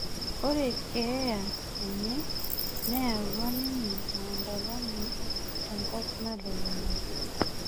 Ore keeya enye neyaua ninye maandamano tenkop nalulung'a